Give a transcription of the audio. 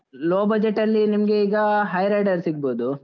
Low budget ಅಲ್ಲಿ ನಿಮ್ಗೆ ಈಗ, Hyryder ಸಿಗ್ಬೋದು.